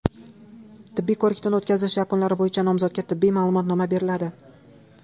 Tibbiy ko‘rikdan o‘tkazish yakunlari bo‘yicha nomzodga tibbiy ma’lumotnoma beriladi.